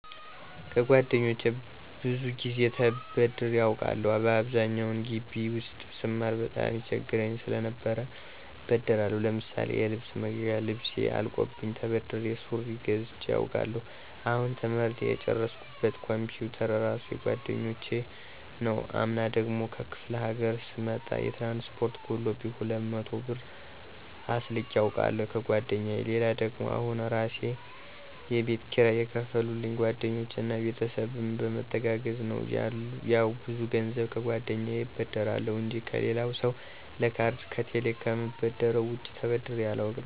ከጓደኞቼ ብዙ ጊዜ ተበድሬ አውቃለሁ። አብዛኛውን ጊቢ ውስጥ ስማር በጣም ይቸግረኝ ሰለነበር እበደራለሁ። ለምሳሌ የልብስ መግዣ ልብሴ አልቆብኝ ተበድሬ ሱሪ ገዝቸ አውቃለሁ። አሁን ትምህርት የጨረስኩበት ኮምፒውተር እራሱ የጓደኞች ነው። አምና ደግሞ ከክፍለ ሀገር ስመጣ የትራንስፖርት ጎሎብኝ 200 ብር አስልኬ አውቃለሁ ከጓደኛየ። ሌላ ደግሞ አሁን እራሱ የቤት ኪራይ የከፈሉልኝ ጓደኞቼ እና ቤተሰብም በመተጋገዝ ነው። ያው ብዙ ገንዘብ ከጓደኛየ እበደራለሁ እንጂ ከሌላ ሰው ለካርድ ከቴሌ ከምበደረው ውጭ ተበድሬ አላውቅም።